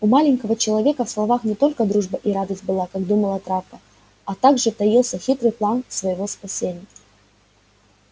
у маленького человека в словах не только дружба и радость была как думала травка а тоже таился и хитрый план своего спасения